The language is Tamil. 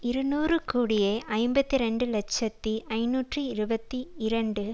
இருநூறு கோடியே ஐம்பத்தி இரண்டு இலட்சத்தி ஐநூற்று இருபத்தி இரண்டு